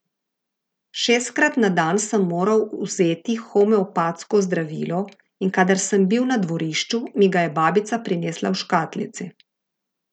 Šestkrat na dan sem moral vzeti homeopatsko zdravilo, in kadar sem bil na dvorišču, mi ga je babica prinesla v škatlici.